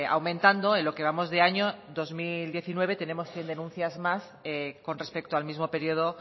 aumentando en lo que vamos de año en dos mil diecinueve tenemos cien denuncias más con respecto al mismo periodo